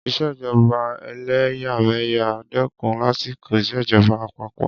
ìṣèjọba ẹlẹ́yàmẹ̀yà dẹ́kun lásìkò ìṣèjọba àpapọ.